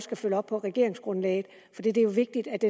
kan følge op på regeringsgrundlaget for det er jo vigtigt at